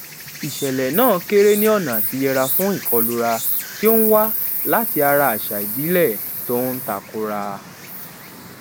ìṣèlè náà kéré ní ọnà àtiyẹra fún ìkọlura tí ó ń wá láti ara àṣà ìbílè tó ń ta kora